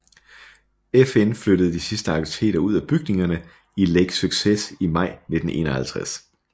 FN flyttede de sidste aktiviteter ud af bygningerne i Lake Success i maj 1951